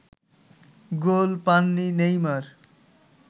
গোল পাননি নেইমার